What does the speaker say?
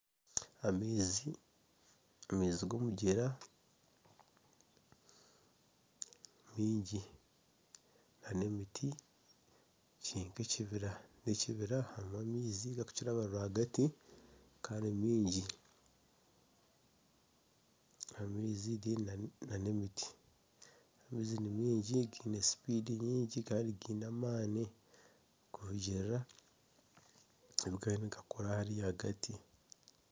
Amaizi g'omugyera mingi nana emiti kiri nka ekibira n'ekibira harimu amaizi agarikukiraba rw'agati maingi, amaizi nana emiti, amaizi nimingi nigirukanga munonga gaine amaani kurugitira ahu kigariyo nigakora hariya hati.